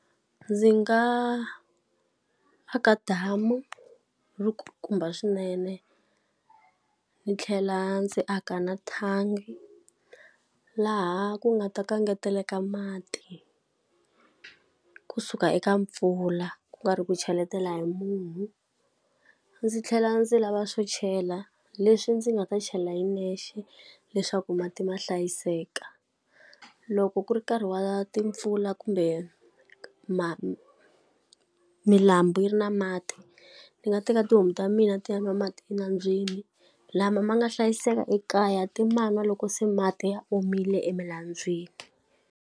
Ndzi nga aka damu ri kulukumba swinene, ndzi tlhela ndzi aka na thangi laha ku nga ta ka engeteleka mati kusuka eka mpfula ku nga ri ku cheletela hi munhu. Ndzi tlhela ndzi lava swo chela leswi ndzi nga ta chela hi nexe leswaku mati ma hlayiseka. Loko ku ri nkarhi wa timpfula kumbe milambu yi ri na mati, ni nga teka tihomu ta mina ti nwa mati enambyeni. Lama ma nga hlayiseka ekaya ti ma nwa loko se mati ya omile emilambyeni.